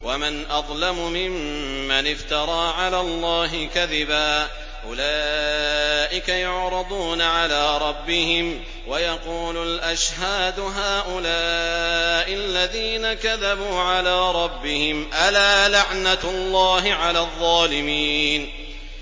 وَمَنْ أَظْلَمُ مِمَّنِ افْتَرَىٰ عَلَى اللَّهِ كَذِبًا ۚ أُولَٰئِكَ يُعْرَضُونَ عَلَىٰ رَبِّهِمْ وَيَقُولُ الْأَشْهَادُ هَٰؤُلَاءِ الَّذِينَ كَذَبُوا عَلَىٰ رَبِّهِمْ ۚ أَلَا لَعْنَةُ اللَّهِ عَلَى الظَّالِمِينَ